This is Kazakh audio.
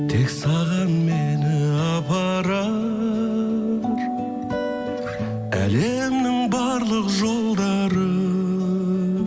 тек саған мені апарар әлемнің барлық жолдары